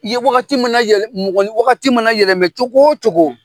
Ye wagati min na yɛlɛ , mɔgɔ ni wagati mana yɛlɛmɛ cogo o cogo